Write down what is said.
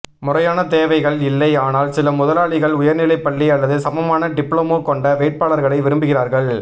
முறையான தேவைகள் இல்லை ஆனால் சில முதலாளிகள் உயர்நிலைப் பள்ளி அல்லது சமமான டிப்ளமோ கொண்ட வேட்பாளர்களை விரும்புகிறார்கள்